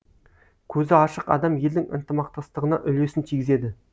көзі ашық адам елдің ынтымақтастығына үлесін тигізеді